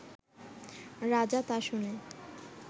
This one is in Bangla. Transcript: রাজা তা শুনে